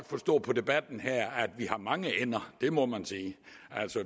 forstå på debatten her at vi har mange ender det må man sige